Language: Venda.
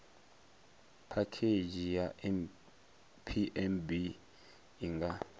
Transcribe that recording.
phakhedzhi ya pmb i nga